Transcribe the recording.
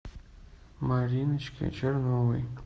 мариночке черновой